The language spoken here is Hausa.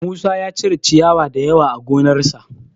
Musa ya cire ciyawa da yawa a gonarsa